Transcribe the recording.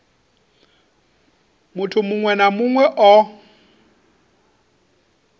muthu muṅwe na muṅwe o